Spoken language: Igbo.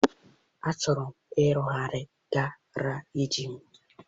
Achọrọ m ịrụgharị garaajị m.